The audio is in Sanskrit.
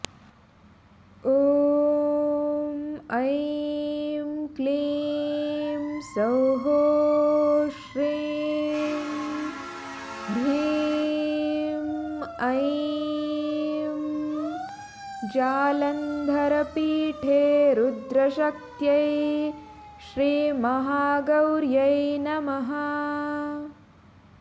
ॐ ऐं क्लीं सौः श्रीं ह्रीं ऐं जालन्धरपीठे रुद्रशक्त्यै श्रीमहागौर्यै नमः